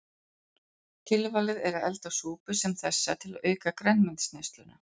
Tilvalið er að elda súpu sem þessa til að auka grænmetisneysluna.